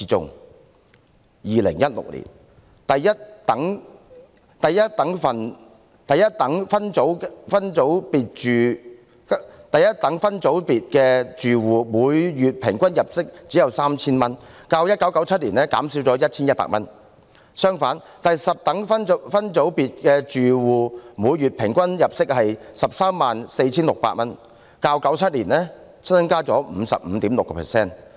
在2016年，第一等分組別住戶的每月平均入息只有 3,000 元，較1997年減少 1,100 元；相反，第十等分組別住戶的每月平均入息為 134,600 元，較1997年增加 55.6%。